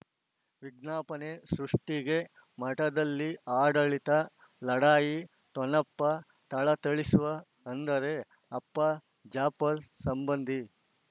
ವಿಜ್ಞಾಪನೆ ಸೃಷ್ಟಿಗೆ ಮಠದಲ್ಲಿ ಆಡಳಿತ ಲಢಾಯಿ ಠೊಣಪ ಥಳಥಳಿಸುವ ಅಂದರೆ ಅಪ್ಪ ಜಾಪರ್ ಸಂಬಂಧಿ